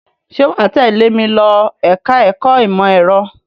Ṣé wà á tẹ́lẹ̀ mi lọ ẹ̀ka-ẹ̀kọ́ ìmọ̀-ẹ̀rọ?